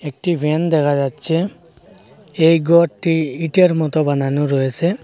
একটি ফ্যান দেখা যাচ্ছে এই গরটি ইটের মতো বানানো রয়েসে।